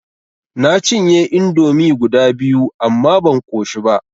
Na cinye indomi guda biyu amma ban ƙoshi ba.